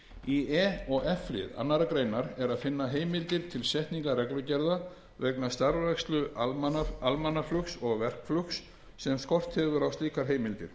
í e og f lið tvær greinar er að finna heimildir til setningar reglugerða vegna starfrækslu almannaflugs og verkflugs sem skort hefur á slíkar heimildir